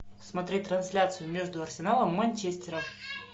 смотреть трансляцию между арсеналом и манчестером